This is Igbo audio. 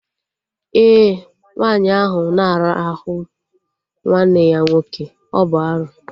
Ee, nwaanyị ahụ na arahụ nwanne ya nwoke, ọ bụ arụ